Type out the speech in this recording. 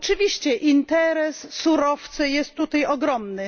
Oczywiście interes surowce jest tutaj ogromny.